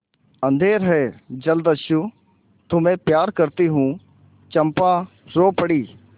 अंधेर है जलदस्यु तुम्हें प्यार करती हूँ चंपा रो पड़ी